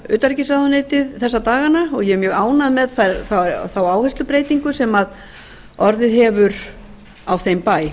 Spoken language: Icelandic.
utanríkisráðuneytið þessa dagana og ég er mjög ánægð með þá áherslubreytingu sem orðið hefur á þeim bæ